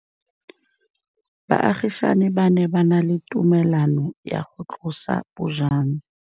Baagisani ba ne ba na le tumalanô ya go tlosa bojang.